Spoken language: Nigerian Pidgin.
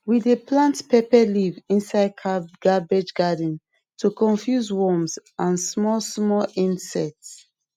we dey plant pepper leaf inside cabbage garden to confuse worms and small small inects